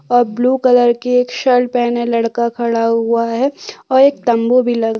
और blue colour की एक शर्ट पहने लड़का खड़ा हुआ है और एक तम्बू भी लगा--